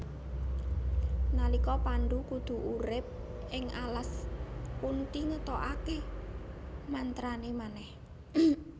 Nalika Pandhu kudu urip ing alas Kunthi ngetokake mantrane manèh